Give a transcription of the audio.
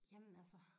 Jamen altså